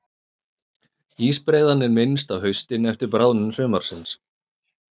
Ísbreiðan er minnst á haustin eftir bráðnun sumarsins.